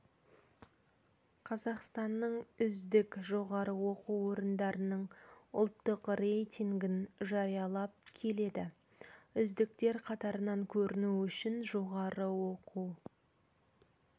қазақстанның үздік жоғары оқу орындарының ұлттық рейтингін жариялап келеді үздіктер қатарынан көріну үшін жоғары оқу